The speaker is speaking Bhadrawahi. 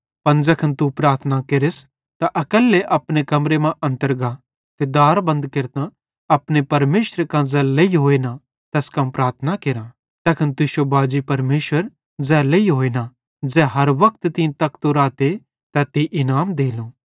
पन ज़ैखन तू प्रार्थना केरस त अकैल्लो अपने कमरेरो अन्तर गा ते दार बंद केरतां अपने परमेशरे कां ज़ै लेइहोए ना तैस कां प्रार्थना केरा तैखन तुश्शो बाजी परमेशर ज़ै लेइहोए ना ज़ै हर वक्त तीं तकतो राते तै तीं इनाम देलो